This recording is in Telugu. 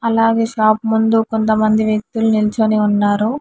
అలాగే షాప్ ముందు కొంతమంది వ్యక్తులు నిల్చుని ఉన్నారు.